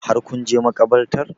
Har kun je makabartar?